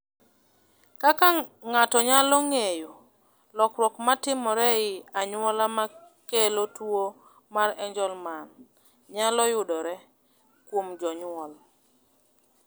"Kaka ng’ato nyalo ng’eyo, lokruok ma timore e anyuola ma kelo tuwo mar Angelman nyalo yudore kuom jonyuol."